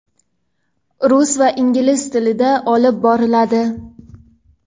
rus va ingliz tilida olib boriladi.